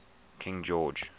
king george